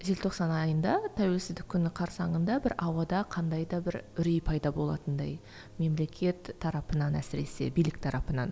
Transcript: желтоқсан айында тәуелсіздік күні қарсаңында бір ауада қандай да бір үрей пайда болатындай мемлекет тарапынан әсіресе билік тарапынан